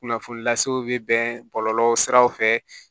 Kunnafoni lasew bɛ bɛn bɔlɔlɔ siraw fɛ